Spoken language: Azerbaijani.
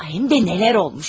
Həm də nələr olub!